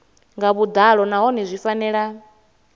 nga vhuḓalo nahone zwi fanela